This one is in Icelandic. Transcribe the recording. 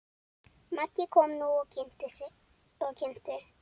Maggi kom nú og kynnti.